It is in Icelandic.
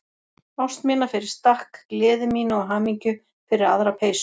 Ást mína fyrir stakk, gleði mína og hamingju fyrir aðra peysu.